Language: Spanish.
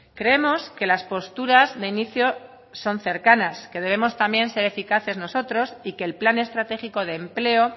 creemos que las posturas de inicio son cercanas que debemos también ser eficaces nosotros y que el plan estratégico de empleo